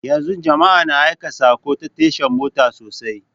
Yanzu jama'a na aika saƙo ta tasha mota sosai